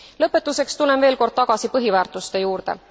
Lõpetuseks tulen veel kord tagasi põhiväärtuste juurde.